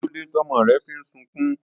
Kílódé tọ́mọ rẹ fi ń sunkún?